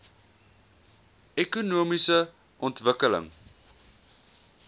ekonomiese ontwikkeling